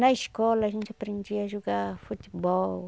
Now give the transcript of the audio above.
Na escola, a gente aprendia a jogar futebol.